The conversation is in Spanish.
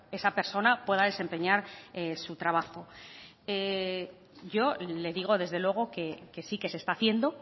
esa persona pueda desempeñar su trabajo yo le digo desde luego que sí que se está haciendo